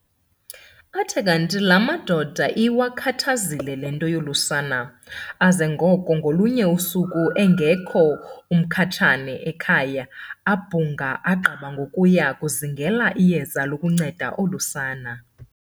Athe kanti laa madoda iwakhathazile le nto yolu sana, aza ngoko ngolunye usuku engekho uMkhatshane ekhaya abhunga, agqiba ngokuya kuzingela iyeza lokunceda olu sana.